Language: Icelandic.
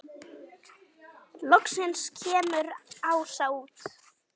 Loksins kemur Ása út.